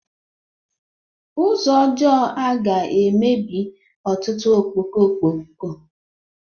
Ụzọ ọjọọ a ga-emebi ọtụtụ ọkpọkpọ ọkpọkọ